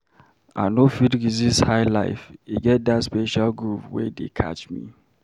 I no fit resist highlife, e get that special groove wey dey catch me.